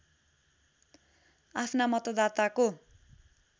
आफ्ना मतदाताको